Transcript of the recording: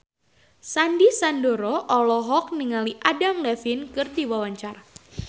Sandy Sandoro olohok ningali Adam Levine keur diwawancara